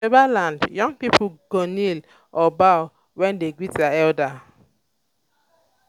for yoruba land young people go kneel or bow when dem greet elder.